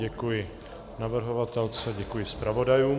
Děkuji navrhovatelce, děkuji zpravodajům.